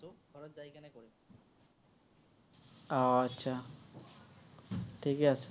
উম ঠিকেই আছে।